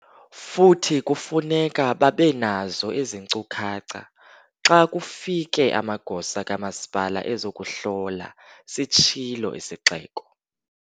"Futhi kufuneka babe nazo ezi nkcukacha xa kufike amagosa kamasipala ezokuhlola," sitshilo isixeko.